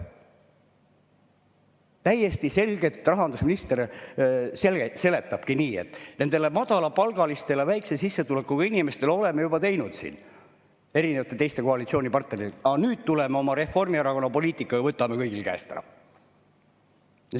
Täiesti selgelt rahandusminister seletab nii, et nendele madalapalgalistele, väikese sissetulekuga inimestele, oleme juba teinud teiste koalitsioonipartneritega, aga nüüd tuleme oma Reformierakonna poliitikaga ja võtame kõigil käest ära.